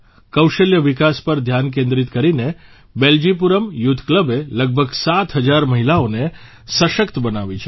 કૌશલ્ય વિકાસ પર ધ્યાન કેન્દ્રિત કરીને બેલ્જીપુરમ યુથ ક્લબે લગભગ સાત હજાર મહિલાઓને સશક્ત બનાવી છે